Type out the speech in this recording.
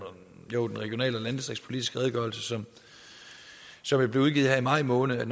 regional og landdistriktspolitiske redegørelse som jo blev udgivet her i maj måned